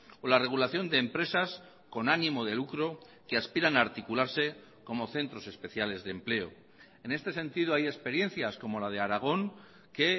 o la regulación de empresas con ánimo de lucro que aspiran a articularse como centros especiales de empleo en este sentido hay experiencias como la de aragón que